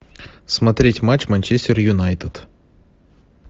смотреть матч манчестер юнайтед